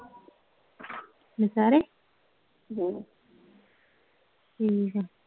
ਨਸਹਿਰੇ ਹਮ ਠੀਕ ਆ